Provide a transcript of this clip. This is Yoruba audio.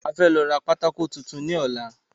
A fẹ́ lọ ra pátákó tuntun ní ọ̀la